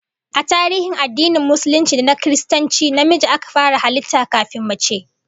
A tarihin addinin Musulunci da na Kiristanci, namiji aka fara halitta kafin mace